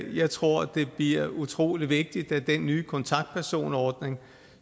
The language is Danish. jeg tror det bliver utrolig vigtigt at den nye kontaktpersonordning